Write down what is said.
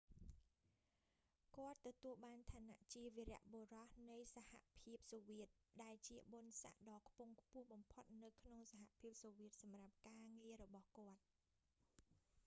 គាត់ទទួលបានឋានៈជា វីរបុរសនៃសហភាពសូវៀត ដែលជាបុណ្យស័ក្តដ៏ខ្ពង់ខ្ពស់បំផុតនៅក្នុងសហភាពសូវៀតសម្រាប់ ការងាររបស់គាត់